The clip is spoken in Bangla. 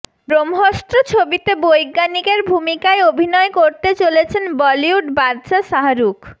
ব্রহ্মস্ত্র ছবিতে বৈজ্ঞানিকের ভূমিকায় অভিনয় করতে চলেছেন বলিউড বাদশা শাহরুখ